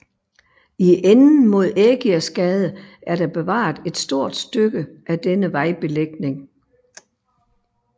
I enden mod Ægirsgade er der bevaret et stort stykke af denne vejbelægning